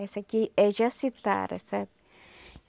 Essa aqui é jacitara, sabe?